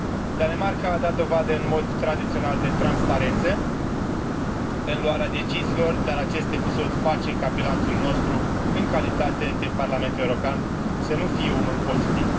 Danemarca a dat dovadă, în mod tradițional, de transparență în luarea deciziilor, dar acest episod face ca bilanțul nostru, în calitate de Parlament European, să nu fie unul pozitiv.